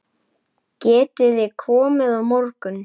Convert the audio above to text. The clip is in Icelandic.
Getiði komið á morgun?